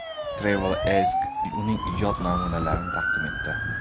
TravelAsk uning ijod namunalarini taqdim etdi .